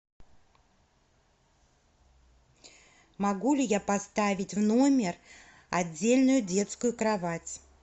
могу ли я поставить в номер отдельную детскую кровать